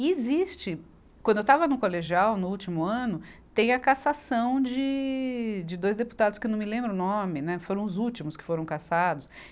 E existe, quando eu estava no colegial, no último ano, tem a caçação de, de dois deputados que não me lembro o nome, né, foram os últimos que foram caçados.